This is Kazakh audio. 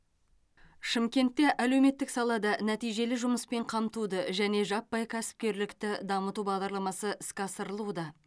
шымкентте әлеуметтік салада нәтижелі жұмыспен қамтуды және жаппай кәсіпкерлікті дамыту бағдарламасы іске асырылуда